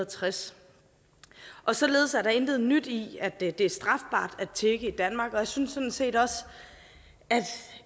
tres således er der intet nyt i at det det er strafbart at tigge i danmark og jeg synes sådan set også at